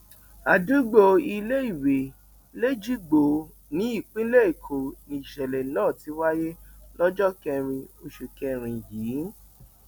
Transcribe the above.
àdúgbò iléìwé lẹjìgbò nípínlẹ èkó nìṣẹlẹ náà ti wáyé lọjọ kẹrin oṣù kẹrin yìí